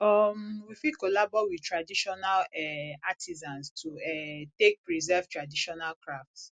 um we fit collabo with traditional um artisans to um take preserve traditional craft